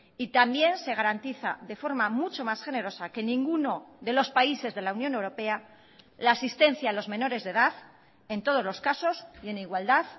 y también se garantiza de forma mucho más generosa que en ninguno de los países de la unión europea la asistencia a los menores de edad en todos los casos y en igualdad